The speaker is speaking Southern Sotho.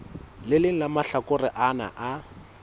leng la mahlakore ana a